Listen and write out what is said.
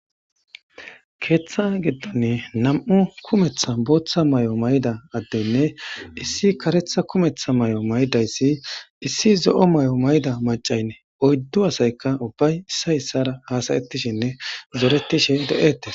Keeththa giddonne nam'u kumetha booththa may'o mayda addenne issi karetha kumetha may'o maydayssi issi zo'o may'o mayda macaynne oyddu asayka ubbay issa issara haasayetishinne zoretishe de'etes.